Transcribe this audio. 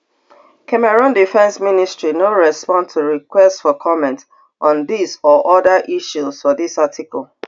cameroon defence ministry no respond to requests for comment on dis or oda issues for dis article